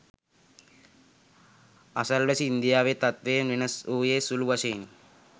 අසල්වැසි ඉන්දියාවේ තත්ත්වයෙන් වෙනස් වූයේ සුලු වශයෙනි